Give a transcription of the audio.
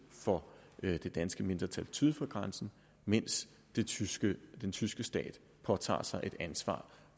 for det danske mindretal syd for grænsen mens den tyske tyske stat påtager sig et ansvar